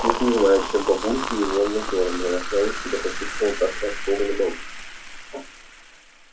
уж не знаю чем бабульки его натёрли но я сразу себя почувствовала наташей ростовой на балу